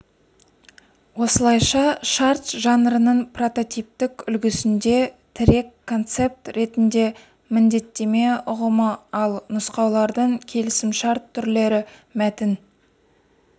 осылайша шарт жанрының прототиптік үлгісінде тірек концепт ретінде міндеттеме ұғымы ал нұсқалардың келісімшарт түрлері мәтін